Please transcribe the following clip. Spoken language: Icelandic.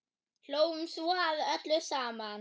Hlógum svo að öllu saman.